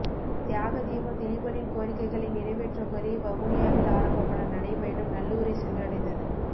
தியாக தீபம் திலீபனின் கோரிக்கைகளை நிறைவேற்ற கோரி வவுனியாவில் ஆரம்பமான நடைபயணம் நல்லூரை சென்றடைந்தது